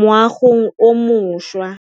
moagong o mošwa.